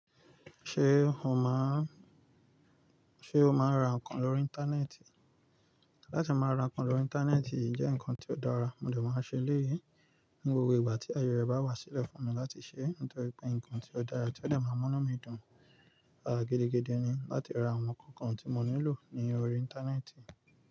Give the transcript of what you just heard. Ṣé o máa ń, ṣe o máa ń ra nǹkan lórí Íńtánẹ́ẹ̀tì? Láti máa ra nǹkan lórí Íńtánẹ́ẹ̀tì jẹ́ nǹkan tó dára, mo dẹ̀ máa ṣe léyí ní gbogbo ìgbà tí aye rẹ̀ bá wá sílẹ̀ fún mi láti ṣe. Nítorí pé nǹkan tí ó dára tí ó dẹ̀ máa mú mí dùn gidigidi ni láti ra àwọn nǹkan kan tí mo nílò ní orí Íńtánẹ́ẹ̀tì.